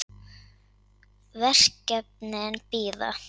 En verkefnin bíða.